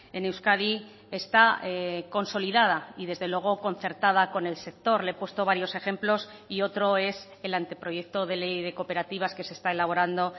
en euskadi está consolidada y desde luego concertada con el sector le he puesto varios ejemplos y otro es el anteproyecto de ley de cooperativas que se está elaborando